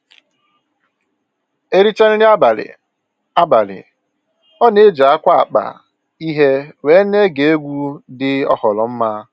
E richaa nri abalị, abalị, ọ na-eji akwa akpa ihe wee na-ege egwu dị oghoroma